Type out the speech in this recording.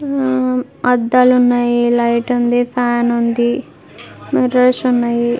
మ్ అద్దాలు ఉన్నాయి లైట్ ఉంది ఫ్యాన్ ఉంది మిర్రర్స్ ఉన్నాయి.